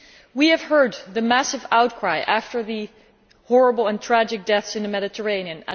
We have heard the massive outcry after the horrible and tragic deaths in the Mediterranean